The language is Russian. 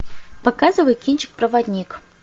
показывай кинчик проводник